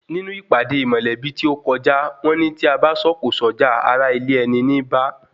Nínú ìpàdé mọ̀lẹ́bí tí o kọjá, wọ́n ní tí abá sọ̀kò sọ́jà, ará ilé ẹni níí bá